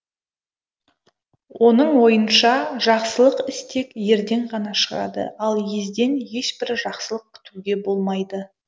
оның ойынша жақсылық іс тек ерден ғана шығады ал езден ешбір жақсылық күтуге болмайды